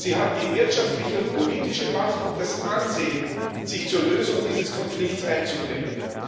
Sie hat die wirtschaftliche und politische Macht und das Ansehen, sich zur Lösung dieses Konflikts einzubringen.